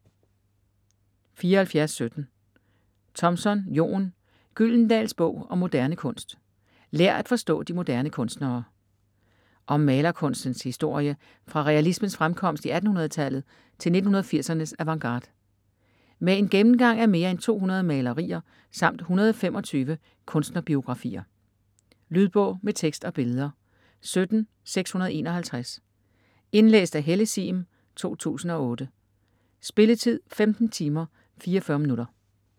74.17 Thompson, Jon: Gyldendals bog om moderne kunst: lær at forstå de moderne kunstnere Om malerkunstens historie fra realismens fremkomst i 1800-tallet til 1980'ernes avantgarde. Med en gennemgang af mere en 200 malerier samt 125 kunstnerbiografier. Lydbog med tekst og billeder 17651 Indlæst af Helle Sihm, 2008. Spilletid: 15 timer, 44 minutter.